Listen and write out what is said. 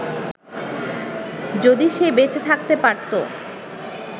যদি সে বেঁচে থাকতে পারতো